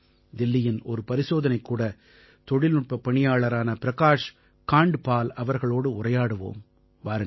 தில்லியின் ஒரு பரிசோதனைக்கூட தொழில்நுட்பப் பணியாளரான பிரகாஷ் காண்ட்பால் அவர்களோடு உரையாடுவோம் வாருங்கள்